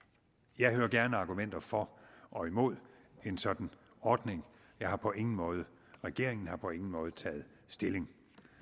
jeg hører gerne argumenter for og imod en sådan ordning jeg har på ingen måde regeringen har på ingen måde taget stilling